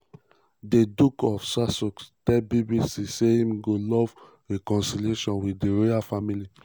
di duke of sussex tell bbc say im "go love reconciliation" wit di royal family.